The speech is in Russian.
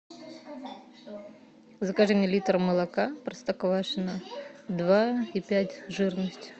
закажи мне литр молока простоквашино два и пять жирность